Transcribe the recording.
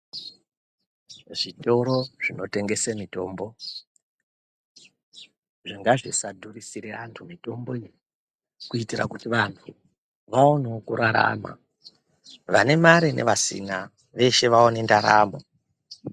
Zvitoro zvinotengese mitombo ngazvisadhurisire antu mitombo iyi kuyitira kuti vantu vawanewo kurarama. Vanemari nevasina veshe vawane ndaramo.